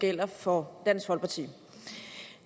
gælder for dansk folkeparti